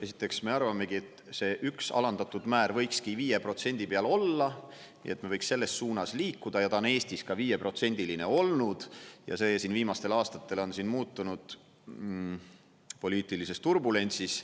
Esiteks me arvamegi, et see üks alandatud määr võikski 5% peal olla, nii et me võiks selles suunas liikuda, ja ta on Eestis ka 5%-line olnud ja see siin viimastel aastatel on muutunud poliitilises turbulentsis.